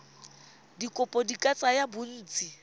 dikopo di ka tsaya bontsi